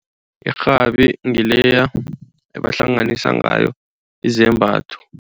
Irhabi ngileya ebahlanganisa ngayo izembatho.